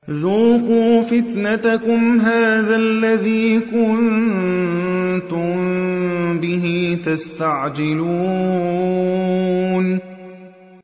ذُوقُوا فِتْنَتَكُمْ هَٰذَا الَّذِي كُنتُم بِهِ تَسْتَعْجِلُونَ